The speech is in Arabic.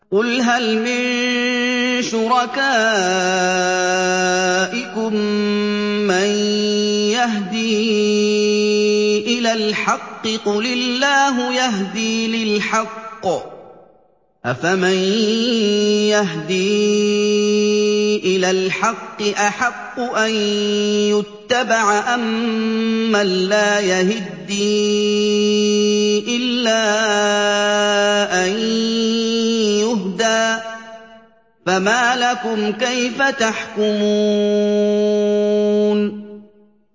قُلْ هَلْ مِن شُرَكَائِكُم مَّن يَهْدِي إِلَى الْحَقِّ ۚ قُلِ اللَّهُ يَهْدِي لِلْحَقِّ ۗ أَفَمَن يَهْدِي إِلَى الْحَقِّ أَحَقُّ أَن يُتَّبَعَ أَمَّن لَّا يَهِدِّي إِلَّا أَن يُهْدَىٰ ۖ فَمَا لَكُمْ كَيْفَ تَحْكُمُونَ